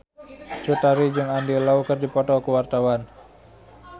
Cut Tari jeung Andy Lau keur dipoto ku wartawan